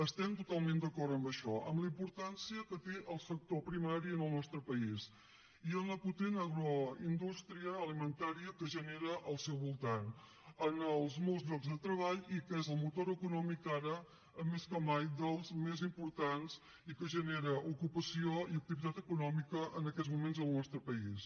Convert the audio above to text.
estem totalment d’acord amb això amb la importància que té el sector primari al nostre país i amb la potent agroindústria alimentària que genera al seu voltant amb els molts llocs de treball i que és el motor econòmic ara més que mai dels més importants i que genera ocupació i activitat econòmica en aquests moments al nostre país